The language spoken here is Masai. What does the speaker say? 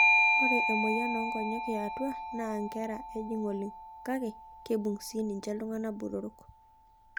Ore emoyian oonkiyia yaatua naa nkera ejing oleng kake keibung' sii ninche iltungana botorok.